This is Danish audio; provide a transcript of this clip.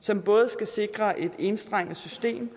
som både skal sikre et enstrenget system